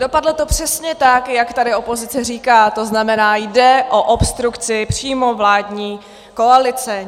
Dopadlo to přesně tak, jak tady opozice říká, to znamená, jde o obstrukci přímo vládní koalice.